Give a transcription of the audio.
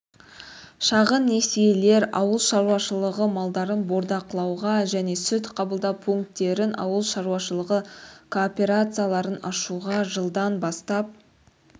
шағын несиелер ауыл шаруашылығы малдарын бордақылауға және сүт қабылдау пункттерін ауыл шаруашылығы кооперацияларын ашуға жылдан бастап